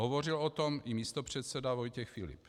Hovořil o tom i místopředseda Vojtěch Filip.